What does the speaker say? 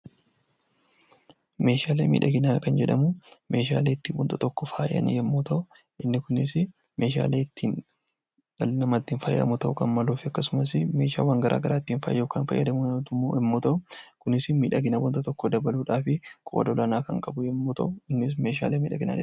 Meeshaalee miidhaginaa kan jedhaman meeshaalee ittiin waan tokko faayaan, meeshaalee ittiin dhalli namaa faayamu akkasumas meeshaaleewwan garaa garaa ittiin faayuuf yammuu ta'uu kunis miidhagina waan tokkoo dabaluuf qooda olaanaa qaba.